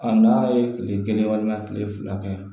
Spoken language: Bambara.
A n'a ye kile kelen walima kile fila kɛ yan